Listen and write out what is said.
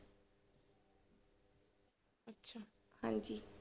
ਹਾਂਜੀ।